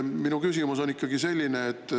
Minu küsimus on selline.